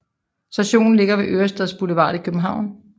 Stationen ligger ved Ørestads Boulevard i København